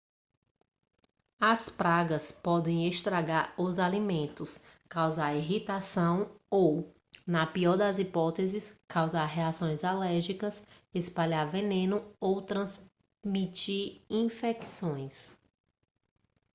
as pragas podem estragar os alimentos causar irritação ou na pior das hipóteses causar reações alérgicas espalhar veneno ou transmitir infecções